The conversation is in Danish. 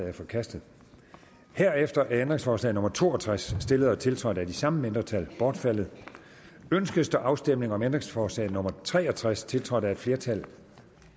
er forkastet herefter er ændringsforslag nummer to og tres stillet og tiltrådt af de samme mindretal bortfaldet ønskes der afstemning om ændringsforslag nummer tre og tres tiltrådt af et flertal